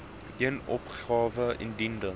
een opgawe ingedien